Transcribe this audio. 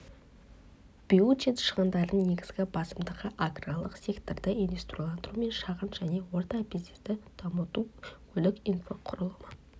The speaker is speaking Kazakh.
бюджет шығындарының негізгі басымдығы аграрлық секторды индустрияландыру мен шағын және орта бизнесті дамыту көлік инфрақұрылымы